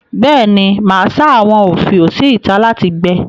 Bẹ́ẹ̀ ni, màá sá àwọn òfiò sí ìtà láti gbẹ.